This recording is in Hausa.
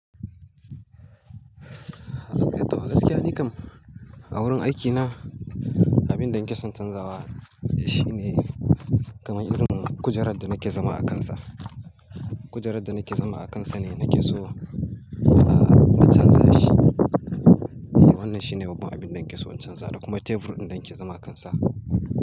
To gaskiya nikam a wurin aikina, abin da nake son canzawa shine kaman irin kujerar da nake zama akansa. Kujerar da nake zama akansa ne nake so, ah, na canza shi. Wannan shine babban abin da nake so in canza da kuma tebur ɗin da nake zama akansa.